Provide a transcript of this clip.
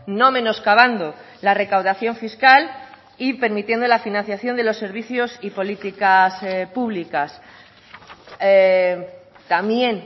no menoscabando la recaudación fiscal y permitiendo la financiación de los servicios y políticas públicas también